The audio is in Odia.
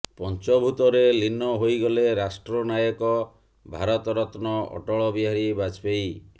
ପଞ୍ଚଭୂତରେ ଲୀନ ହୋଇଗଲେ ରାଷ୍ଟ୍ର ନାୟକ ଭାରତ ରତ୍ନ ଅଟଳ ବିହାରୀ ବାଜପେୟୀ